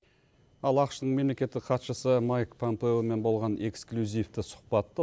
ал ақш тың мемлекеттік хатшысы майк пампеомен болған эксклюзивті сұхпатты